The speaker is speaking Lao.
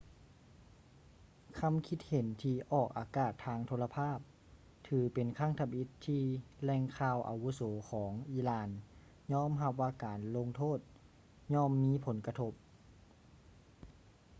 ຄຳຄິດເຫັນທີ່ອອກອາກາດທາງໂທລະພາບຖືເປັນຄັ້ງທຳອິດທີ່ແຫຼ່ງຂ່າວອາວຸໂສຂອງອີຣານຍອມຮັບວ່າການລົງໂທດຍ່ອມມີຜົນກະທົບ